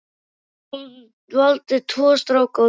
Hún valdi tvo stráka og tvær stelpur.